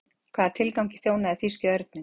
hvaða tilgangi þjónaði þýski örninn